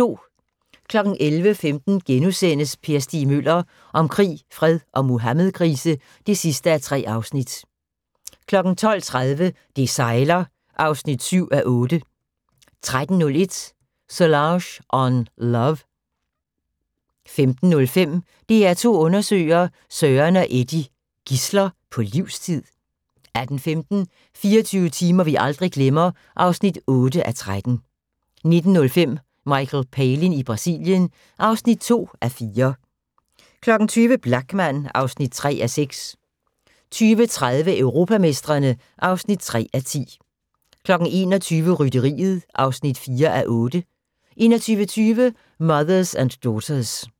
11:15: Per Stig Møller – om krig, fred og Muhammedkrise (3:3)* 12:30: Det sejler (7:8) 13:01: Solange on Love 15:05: DR2 undersøger: Søren og Eddy – gidsler på livstid? 18:15: 24 timer vi aldrig glemmer (8:13) 19:05: Michael Palin i Brasilien (2:4) 20:00: Blachman (3:6) 20:30: Europamestrene (3:10) 21:00: Rytteriet (4:8) 21:20: Mothers and Daughters